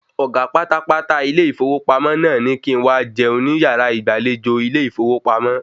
Ọ̀gá pátápátá ilé ìfowópamọ́ naa ní kí n̄ ma jẹun ni yàrá ìgbàlejò ilé ìfowópamọ́